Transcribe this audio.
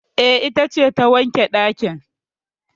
E, ita ce ta wanke ɗakin